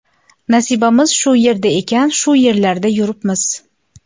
Nasibamiz shu yerda ekan, shu yerlarda yuribmiz.